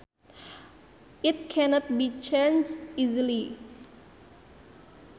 It cannot be changed easily